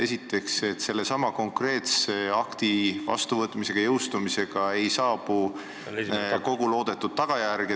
Esiteks, ega me selle konkreetse seadusakti vastuvõtmise ja jõustumisega ei saavuta kogu loodetud tulemust.